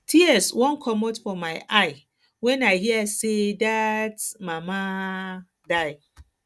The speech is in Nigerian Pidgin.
tears wan comot for my eye my eye wen i hear say dat um mama um die